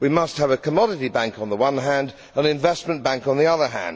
We must have a commodity bank on the one hand and an investment bank on the other.